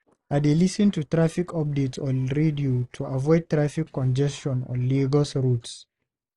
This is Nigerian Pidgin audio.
I dey lis ten to traffic updates on radio to avoid traffic congestion on Lagos roads.